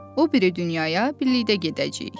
O biri dünyaya birlikdə gedəcəyik.